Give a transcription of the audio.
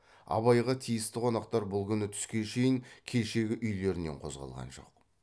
абайға тиісті қонақтар бұл күні түске шейін кешегі үйлерінен қозғалған жоқ